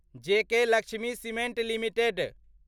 JK Lakshmi cement limited